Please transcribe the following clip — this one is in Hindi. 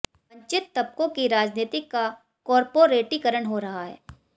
वंचित तबकों की राजनीति का कॉरपोरेटीकरण हो रहा है